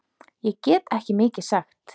Ég get ekki mikið sagt.